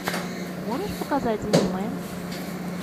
можешь показать аниме